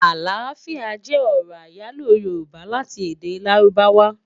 Aláfiá jè òrò áyáló yórùbá láti èdè ládùbáwá